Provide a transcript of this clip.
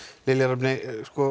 Lilja Rafney